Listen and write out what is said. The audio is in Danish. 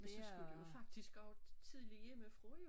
Og så skulle du jo faktisk også tidligt hjemmefra jo